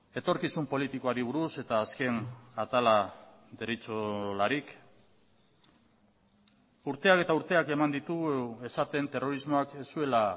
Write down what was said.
etorkizun politikoari buruz eta azken atala deritzolarik urteak eta urteak eman ditugu esaten terrorismoak ez zuela